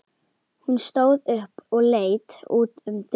Hún stóð upp og leit út um dyrnar.